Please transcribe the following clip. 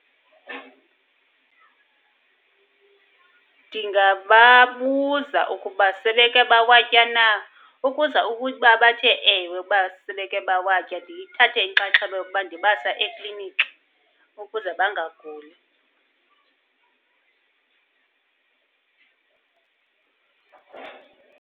Ndingababuza ukuba sebeke bawatya na. Ukuza ukuba bathe ewe ukuba sebeke bawatya, ndithathe inxaxheba yokuba ndibasa ekliniki ukuze bangaguli.